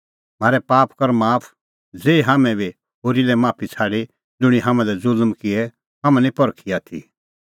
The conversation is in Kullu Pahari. म्हारै पाप कर माफ ज़ेही हाम्हैं बी होरी लै माफी छ़ाडी ज़ुंणी हाम्हां लै ज़ुल्म किऐ हाम्हां निं परखी आथी